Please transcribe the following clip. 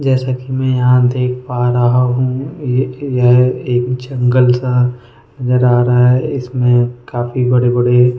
जैसा कि मैं यहां देख पा रहा हूं ये यह एक जंगल सा नजर आ रहा है इसमें काफी बड़े-बड़े --